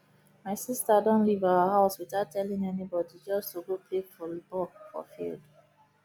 my sister don leave our house without telling anybody just to go play volley ball for field